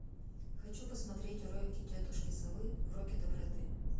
хочу посмотреть уроки тетушки совы уроки доброты